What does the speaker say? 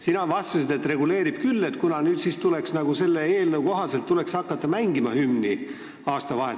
Sina vastasid, et reguleerib küll, kuna nüüd tuleks selle eelnõu kohaselt hakata aastavahetusel hümni mängima.